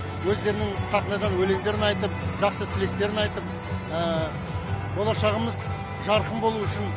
өздерінің сахнадан өлеңдерін айтып жақсы тілектерін айтып болашағымыз жарқын болуы үшін